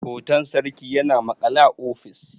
hoton sarki yana maƙale a ofis